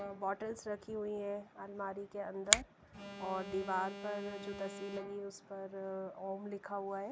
Bottles रखी हुई है अलमारी के अंदर और दीवार पर जो तस्वीर लगी है उस पर अ अ ओम लिखा हुआ है।